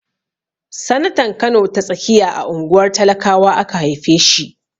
Sanatan Kano ta tsakiya a unguwar talakawa aka haife shi.